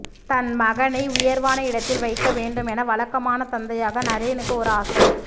தன் மகனை உயர்வான இடத்தில் வைக்க வேண்டும் என வழக்கமான தந்தையாக நரேனுக்கு ஒரு ஆசை